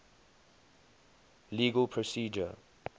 legal procedure